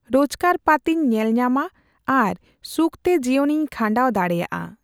ᱨᱳᱡᱠᱟᱨ ᱯᱟᱹᱛᱤᱧ ᱧᱮᱞᱧᱟᱢᱟ᱾ ᱟᱨ ᱥᱩᱠᱛᱮ ᱡᱤᱭᱚᱱᱤᱧ ᱠᱷᱟᱸᱰᱟᱣ ᱫᱟᱲᱮᱭᱟᱜᱼᱟ᱾